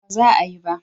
A'a ba za a yi ba